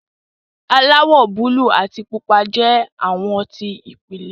aláwò buluu àti pupa jẹ awọ ti ìpìlẹ.